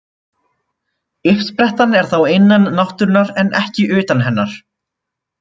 Uppsprettan er þá innan náttúrunnar en ekki utan hennar.